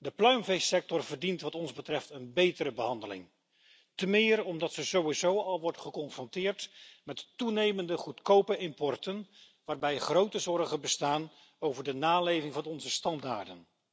De pluimveesector verdient wat ons betreft een betere behandeling, temeer omdat deze sector sowieso al wordt geconfronteerd met toenemende goedkope importen, waarbij grote zorgen bestaan over de naleving van onze standaarden.